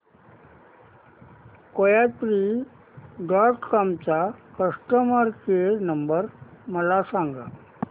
कोयात्री dot com चा customer care number मला सांगा